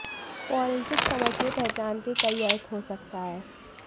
forensic समझ में पहचान के कई अर्थ हो सकता है